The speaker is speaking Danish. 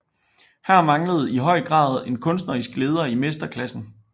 Her manglede i høj grad en kunstnerisk leder i mesterklassen